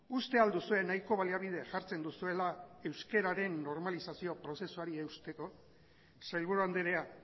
uste al duzue nahiko baliabide jartzen duzuela euskararen normalizazio prozesuari eusteko sailburu andrea